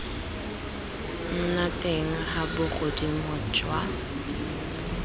nna teng ga bogodimo jwa